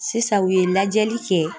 Sisan u ye lajɛli kɛ